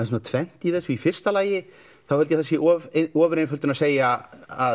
tvennt í þessu í fyrsta lagi held ég að það sé ofureinföldun að segja að